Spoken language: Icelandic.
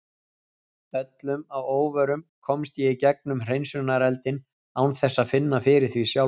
Öllum að óvörum komst ég í gegnum hreinsunareldinn án þess að finna fyrir því sjálfur.